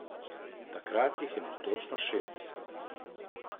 Takrat jih je imel točno šestdeset.